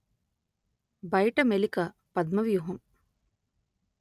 బయట మెలిక పద్మవ్యూహం